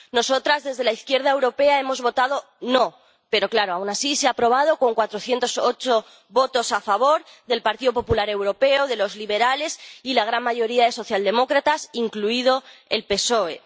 Nosotras, desde la izquierda europea, hemos votado no pero, claro, aun así, se ha aprobado con 408 votos a favor del Partido Popular Europeo, de los liberales y la gran mayoría de socialdemócratas, incluido el PSOE.